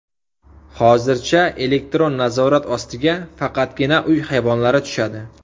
Hozircha elektron nazorat ostiga faqatgina uy hayvonlari tushadi.